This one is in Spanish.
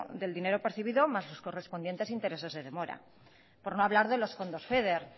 del dinero percibido más los correspondientes intereses de demora por no hablar de los fondos feder